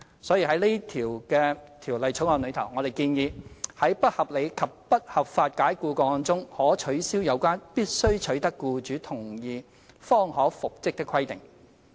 所以，在《條例草案》中，我們建議：在不合理及不合法解僱個案中，可取消有關必須取得僱主同意方可復職的規定。